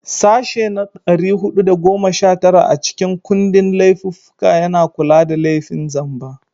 Sashe na 419 a cikin kundin laifuffuka yana kula da laifin zamba.